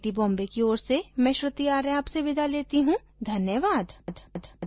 यह स्क्रिप्ट बिंदु पांडे द्वारा अनुवादित है आईआईटी बॉम्बे की ओर से मैं श्रुति आर्य अब आपसे विदा लेती हूँ धन्यवाद